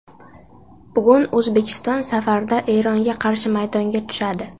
Bugun O‘zbekiston safarda Eronga qarshi maydonga tushadi.